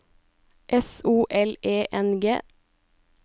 S O L E N G